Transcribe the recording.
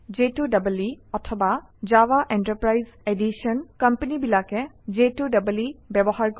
J2EE অথবা Java enterprise Edition কোম্পানীবিলাকে j2ইই ব্যৱহাৰ কৰে